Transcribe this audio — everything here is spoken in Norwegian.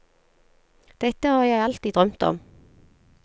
Dette har jeg alltid drømt om.